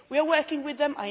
We are working with them.